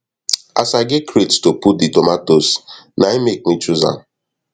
as i get crate to put the tomatoes nain make me chose am